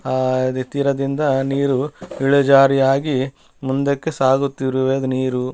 ಆ ನಿಂತಿರೋದಿಂದ ನೀರು ಇಳಿಜಾರಿಯಾಗಿ ಮುಂದಕ್ಕೆ ಸಾಗುತ್ತಿರುವೆ ನೀರು .